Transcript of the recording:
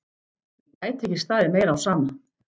Mér gæti ekki staðið meira á sama.